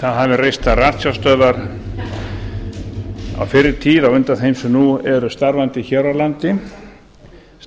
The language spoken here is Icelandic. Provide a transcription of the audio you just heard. það hafa verið reistar ratsjárstöðvar á fyrri tíð á undan þeim sem nú eru starfandi hér á landi